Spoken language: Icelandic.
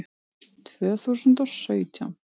Tvö þúsund og sautján